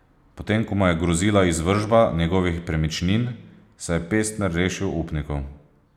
Potem ko mu je grozila izvršba njegovih premičnin, se je Pestner rešil upnikov.